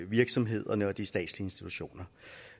virksomhederne og de statslige institutioner